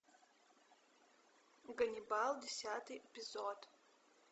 ганнибал десятый эпизод